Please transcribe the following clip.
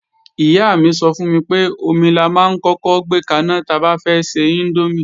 Ìyá mi sọ fún mi pé, omi la máa ń kọ́kọ́ gbé kaná ta bá fẹ́ ṣe índómì